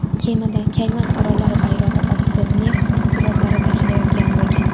Kemada Kayman orollari bayrog‘i ostida neft mahsulotlari tashilayotgan bo‘lgan.